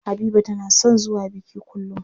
Habiba tana son zuwa biki kullum.